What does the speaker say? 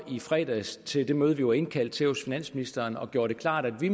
i fredags til det møde vi var indkaldt til hos finansministeren og gjorde det klart at vi